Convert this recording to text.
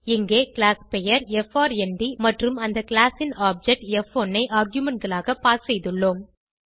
இங்கே class பெயர் F R N D மற்றும் அந்த கிளாஸ் ன் ஆப்ஜெக்ட் ப்1 ஐ argumentகளாக பாஸ் செய்துள்ளோம்